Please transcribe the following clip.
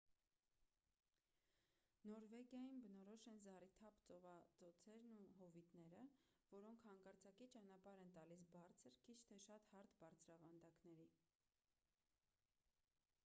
նորվեգիային բնորոշ են զառիթափ ծովածոցերն ու հովիտները որոնք հանկարծակի ճանապարհ են տալիս բարձր քիչ թե շատ հարթ բարձրավանդակների